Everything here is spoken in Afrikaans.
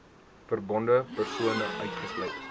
verbonde persone uitgesluit